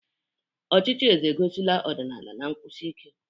Ọchịchị eze egosila ọdịnala na nkwụsi ike.